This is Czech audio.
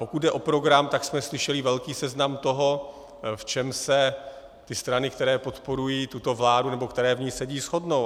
Pokud jde o program, tak jsme slyšeli velký seznam toho, v čem se ty strany, které podporují tuto vládu nebo které v ní sedí, shodnou.